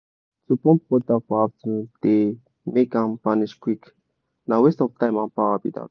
to pump water for afternoon dey make am vanish quick na waste of time and power be dat.